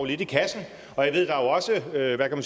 lidt i kassen og jeg ved at der jo